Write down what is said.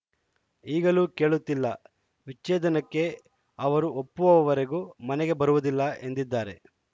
ಈಗಲೂ ಕೇಳುತ್ತಿಲ್ಲ ವಿಚ್ಛೇದನಕ್ಕೆ ಅವರು ಒಪ್ಪುವವರೆಗೂ ಮನೆಗೆ ಬರುವುದಿಲ್ಲ ಎಂದಿದ್ದಾರೆ